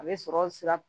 A bɛ sɔrɔ sira